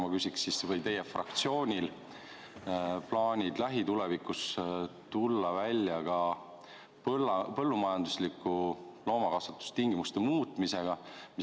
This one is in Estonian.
Ma küsin siis: kas teie fraktsioonil on plaanid lähitulevikus tulla välja ka põllumajandusliku loomakasvatuse tingimuste muutmisega?